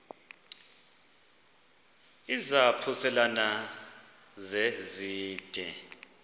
izaphuselana se zide